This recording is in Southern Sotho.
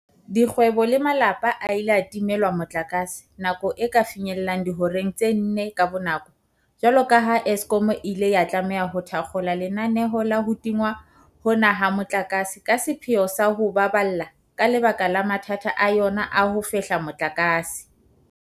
Dikgwebo le malapa a ile a timelwa motlakase nako e ka finyellang dihoreng tse nne ka bonako jwalo ka ha Eskom e ile ya tlameha ho thakgola lenaneo la ho tingwa hona ha motlakase ka sepheo sa o ho baballa ka lebaka la mathata a yona a ho fehla motlakase.